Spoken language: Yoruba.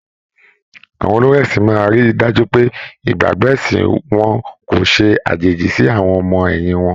Àwọn olórí ẹ̀sin máa ríi dájú pé ìgbàgbọ́ ẹ̀sìn wọn kò ṣe àjèjì sí àwọn ọmọ ẹ̀yìn wọn.